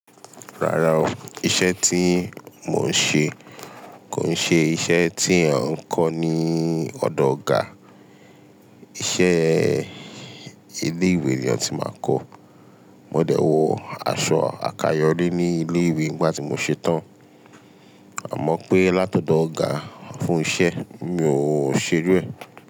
Rárá o, iṣẹ́ tí mò ń ṣe kò ṣe iṣẹ́ tí è n kọ́ ní ọ̀dọ̀ ọ̀gá. Iṣẹ́ ilé ìwé ni o ti máa kọ́. Mọ dẹ̀ wọ aṣọ àkayọ̀ri ní ilé ìwé nígbà tí mò ṣetán, àmọ́ pé látọ̀dọ̀ ọ̀gá fún iṣẹ́ mi ò ṣe iru é.